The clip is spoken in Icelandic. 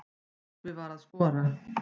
Tryggvi var að skora.